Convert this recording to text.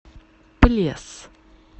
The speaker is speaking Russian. плес